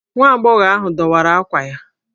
Nwa agbọghọ ahụ dọwara ákwà ya.